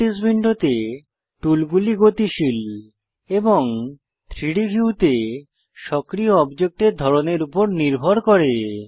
properties উইন্ডোতে টুলগুলি গতিশীল এবং 3ডি ভিউতে সক্রিয় অবজেক্টের ধরনের উপর নির্ভর করে